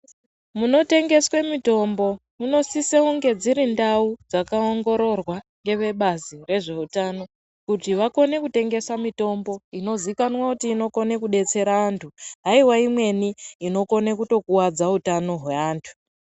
Munotengeswe mitombo munosise kunge dziri ndau dzakaongororwa ngevebazi rezveutano, kuti vagone kutengesa mitombo inozivikanwa kuti inogone kudetsera antu haiwa imweni inogone kutokuvadza utano hweantu.